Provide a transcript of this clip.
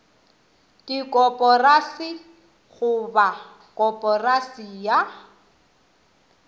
dikoporasi go ba koporasi ya